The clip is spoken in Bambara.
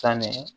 San mɛ